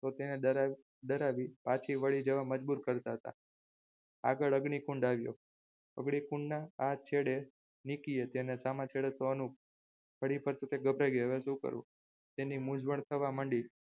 તેને રડાવી પાછી વળી જવા મજબૂર કરતા હતા આગળ અગ્નિકુંડ આવ્યો અગ્નિ કુંડના આ છેડે નીકી હતી અને સામા છેડે ત્યાં અનુપ ફરી પાછી તે ગભરાઈ જઈ હવે શું કરવું તેની મુજવણ થવા માંડી